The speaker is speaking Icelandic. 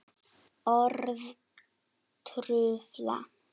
Orð trufla.